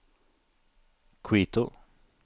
Quito